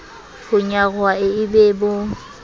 ho nyaroha e e bo